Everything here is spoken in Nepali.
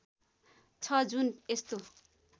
छ जुन यस्तो